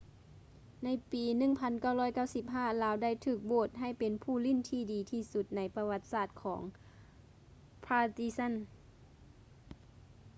ໃນປີ 1995 ລາວໄດ້ຖືກໂຫວດໃຫ້ເປັນຜູ້ຫຼິ້ນທີ່ດີທີ່ສຸດໃນປະຫວັດສາດຂອງ partizan